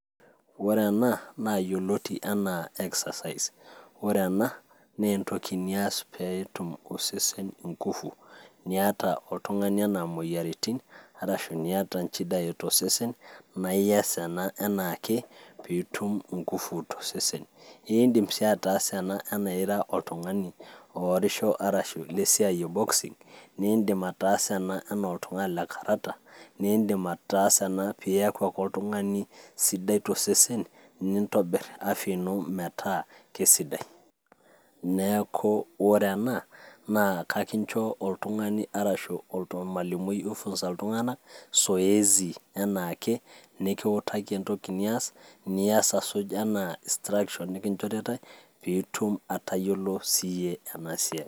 Ore ena naa yioloti enaa exercise ore ena naa entoki niyas peetum osesen ingufu niata oltung'ani enaa moyiaritin arashi niata inchidai tosesen naiyas ena enaake piitum ingufu tosesen indim sii ataasa inchidai tosesen naa iyas ena enaake piitum ingufu tosesen indim sii ataasa ena anaa ira oltung'ani oorisho arashu lesiai e boxing nindim ataasa ena enaa oltung'ani lekarata nindim ataasa ena piyaku ake oltung'ani sidai tosesen nintobirr afya ino metaa kisidai neeku ore ena naa kakincho oltung'ani arashu ormalimui oifunza iltung'anak zoezi enaake nikiutaki entoki nias niyas asuj enaa instructions nikinchoritae piitum atayiolo siiyie ena siai.